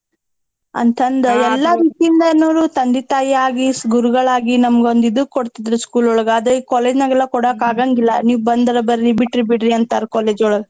ಅಂತಂದ್ ಎಲ್ಲಾ ರೀತಿಯಿಂದನುರೂ ತಂದೆ ತಾಯಿ ಆಗಿ ಗುರುಗಳ್ ಆಗಿ ನಮ್ಗ್ ಒಂದ್ ಇದು ಕೊಡ್ತಿದ್ರು school ಒಳಗ್ ಆದ್ರೆ ಈಗ್ college ನಾಗೆಲ್ಲಾ ಕೊಡಾಕ್ ಆಗಂಗಿಲ್ಲಾ ನಿವ್ ಬಂದರ ಬರ್ರಿ ಬಿಟ್ರ್ ಬಿಡ್ರಿ ಅಂತಾರ್ college ಒಳಗ್.